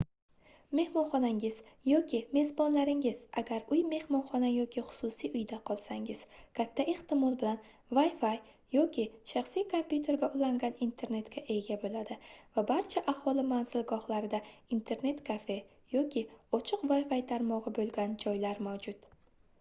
mehmonxonangiz yoki mezbonlaringiz agar uy mehmonxona yoki xususiy uyda qolsangiz katta ehtimol bilan wi-fi yoki shaxsiy kompyuterga ulangan internetga ega bo'ladi va barcha aholi manzilgohlarida internet-kafe yoki ochiq wi-fi tarmog'i bo'lgan joylar mavjud